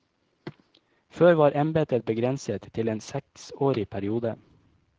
Før var embetet begrenset til en seksårig periode.